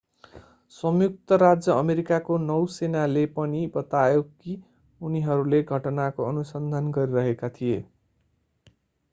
संयुक्त राज्य अमेरिकाको नौसेनाले पनि बतायो कि उनीहरूले घटनाको अनुसन्धान गरिरहेका थिए